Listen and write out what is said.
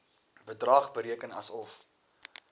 bedrag bereken asof